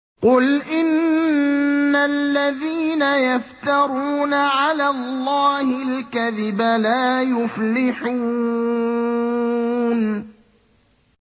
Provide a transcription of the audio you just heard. قُلْ إِنَّ الَّذِينَ يَفْتَرُونَ عَلَى اللَّهِ الْكَذِبَ لَا يُفْلِحُونَ